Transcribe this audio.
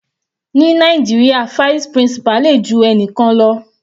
Ní Nàìjíríà vice principal le ju ẹnikan lọ.